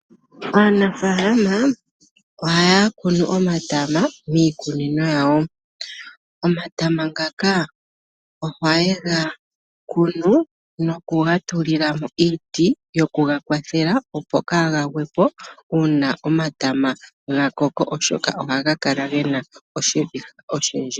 Aanafaalama ohaya kunu omatama miikunino yawo. Omatama ngaka ohaye ga kunu nokuga tulila mo iiti yoku ga kwathela, opo kaaga gwe po uuna omatama ga koko, oshoka ohaga kala ge na oshiviha oshindji.